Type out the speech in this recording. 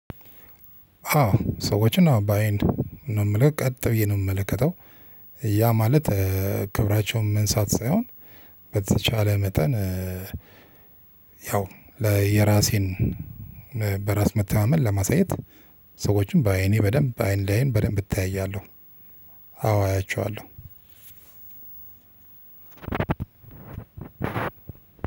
አዎ ሰዎችን አዎ ባይንን ነው የምልው ቀጥ ብዬ ነው የምመለከተው። ያ ማለት ክብራቸውን መንሳት ሳይሆን በተቻለ መጠን። ያው የራሴን በራስ መተማመን ለማሳየት። ሰዎችን በአይኔ በደንብ በአይን ላይን በደንብ እተያያለሁ። አዎ አያቸዋለሁ።